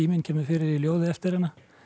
kemur fyrir í ljóði eftir hana